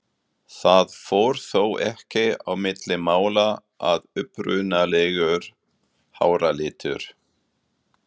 Það fór þó ekki á milli mála að upprunalegur háralitur